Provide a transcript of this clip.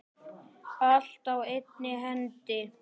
Allt á einni hendi.